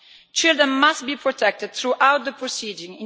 Children must be protected throughout the proceedings.